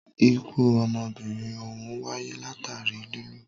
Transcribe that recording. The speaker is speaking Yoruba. Ikú ọmọbìnrin òhún wáyé látàri lilù.